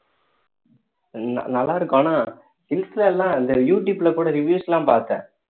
நல்லா இருக்கும் ஆனா எல்லாம் இந்த யூடுபேல கூட reviews எல்லாம் பார்த்தேன்